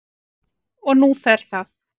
Og nú fer það